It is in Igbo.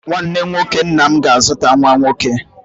Nwanne nwoke nna m ga-azụta nwa nwoke